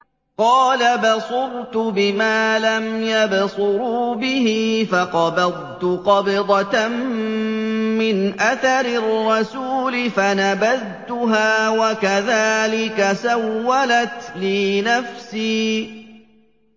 قَالَ بَصُرْتُ بِمَا لَمْ يَبْصُرُوا بِهِ فَقَبَضْتُ قَبْضَةً مِّنْ أَثَرِ الرَّسُولِ فَنَبَذْتُهَا وَكَذَٰلِكَ سَوَّلَتْ لِي نَفْسِي